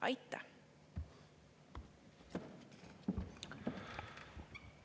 Aitäh!